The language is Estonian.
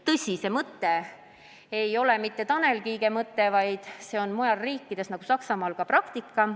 Tõsi, see mõte ei ole mitte Tanel Kiige mõte, vaid see on muude riikide, näiteks Saksamaa praktika.